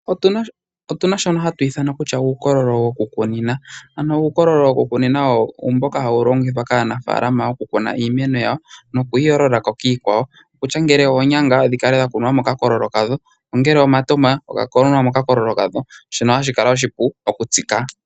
Otuna shoka hatu ithana kutya uukololo wokukunina, ano uukololo wokukunina owo uukololo mboka hawu longithwa kaanafalama okukuna iimeno yawo, nokuyi yoolola kiikwawo. Okutya ngele oonyanga hadhi kala dhakukwa mokakololo kadho, ongele omatama ga kunwa mokakololo kadho. Shono hashi kala oshipu okutsika.